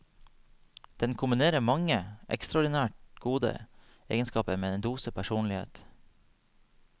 Den kombinerer mange ekstraordinært gode egenskaper med en dose personlighet.